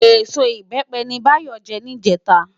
Ésó Ibèpè ni Bayo jè nijètá